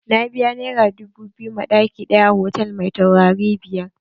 Na biya naira dubu biyu ma ɗaki ɗaya a hotal mai taurari biyar.